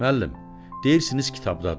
Müəllim, deyirsiniz kitabdadır.